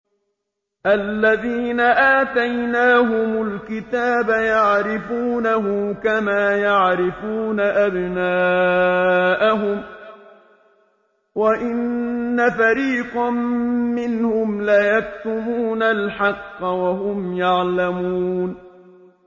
الَّذِينَ آتَيْنَاهُمُ الْكِتَابَ يَعْرِفُونَهُ كَمَا يَعْرِفُونَ أَبْنَاءَهُمْ ۖ وَإِنَّ فَرِيقًا مِّنْهُمْ لَيَكْتُمُونَ الْحَقَّ وَهُمْ يَعْلَمُونَ